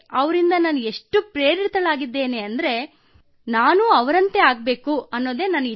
ಅವರಿಂದ ನಾನು ಎಷ್ಟು ಪ್ರೇರಿತಳಾಗಿದ್ದೇನೆ ರಣೆ ದೊರೆಯುತ್ತಿದೆ ಎಂದರೆ ನಾನೂ ಅವರಂತಾಗಬಯಸುತ್ತೇನೆ